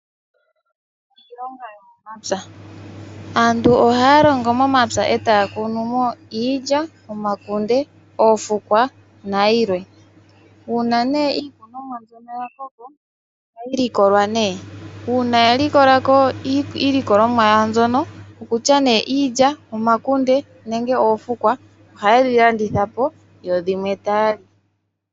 Iilonga yomomapya. Aantu ohaya longo momapya etaya kunumo iilya, omakunde, oofukwa nayilwe. Uuna iikunomwa mbyono yakoko ohayi likolwa . Uuna yalikola iilikolomwa mbyono ngaashi iilya , omakunde, oofukwa ohayedhi landithapo, dho yimwe taya li.